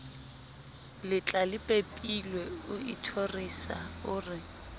letlalepepilwe o ithorisa o re